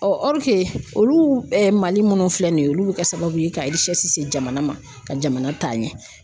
olu Mali minnu filɛ nin ye olu bi kɛ sababu ye ka se jamana ma ka jamana taa ɲɛ.